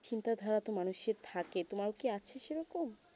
চিন্তা ধারণা তো মানুষে থাকে তমা কি আছে সেই রকম